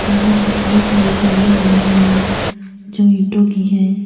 यहां पे बहुत सारी सीढ़ियां बनी हुई है जो ईंटों की हैं।